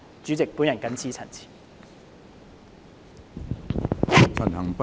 主席，我謹此陳辭。